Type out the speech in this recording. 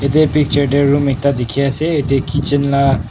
yate picture te room ekta dikhi ase yate kitchen la.